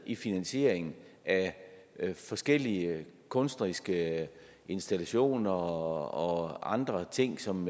i finansieringen af forskellige kunstneriske installationer og andre ting som